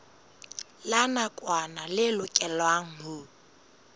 la nakwana le lokelwang ho